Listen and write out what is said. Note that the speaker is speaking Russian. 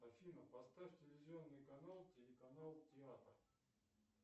афина поставь телевизионный канал телеканал театр